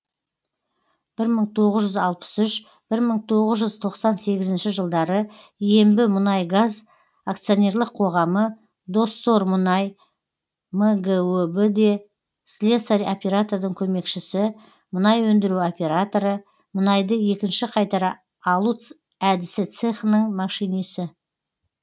бір мың тоғыз жүз алпыс үш бір мың тоғыз жүз тоқсан сегізінші жылдары ембімұнайгаз акционерлік қоғамы доссормүнай мгөб да слесарь оператордың көмекшісі мұнай өндіру операторы мұнайды екінші қайтара алу әдісі цехының машинисі